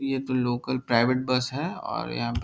ये तो local private bus है और यहाँ --